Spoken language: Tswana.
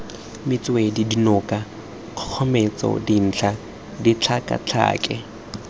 metswedi dinoka kgogometso dintlha ditlhakatlhake